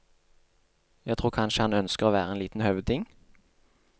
Jeg tror kanskje han ønsker å være en liten høvding.